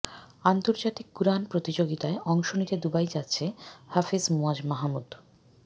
আন্তর্জাতিক কুরআন প্রতিযোগিতায় অংশ নিতে দুবাই যাচ্ছে হাফেজ মুয়াজ মাহমুদ